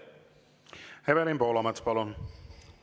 Evelin Poolamets, palun!